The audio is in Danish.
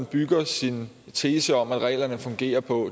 bygger sin tese om at reglerne fungerer på